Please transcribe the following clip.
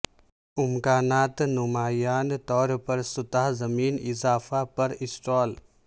امکانات نمایاں طور پر سطح زمین اضافہ پر اسٹال